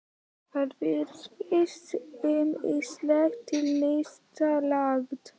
Þér virðist ýmislegt til lista lagt.